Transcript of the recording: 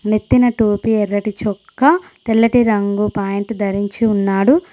నెత్తిన టోపీ ఎర్రటి చొక్కా తెల్లటి రంగు పాయింట్ ధరించి ఉన్నాడు.